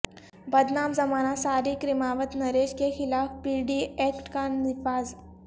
بدنام زمانہ سارق رماوت نریش کیخلاف پی ڈی ایکٹ کا نفاذ